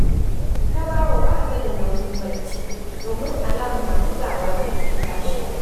Tabawa ba ta da nauyin barci, domin alam na bugawa take tashi